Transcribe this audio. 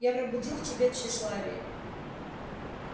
я пробудил в тебе тщеславие